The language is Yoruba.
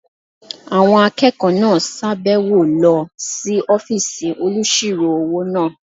Àwọn akẹ́kọ̀ọ́ náà sàbẹ̀wo lọ sí ọ́fìsì olùsirò-owó náà